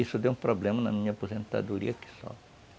Isso deu um problema na minha aposentadoria aqui só.